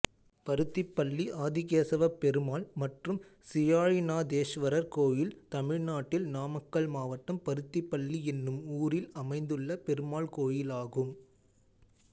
பருத்திப்பள்ளி ஆதிகேசவப்பெருமாள் மற்றும் சீயாழிநாதேஸ்வரர் கோயில் தமிழ்நாட்டில் நாமக்கல் மாவட்டம் பருத்திப்பள்ளி என்னும் ஊரில் அமைந்துள்ள பெருமாள் கோயிலாகும்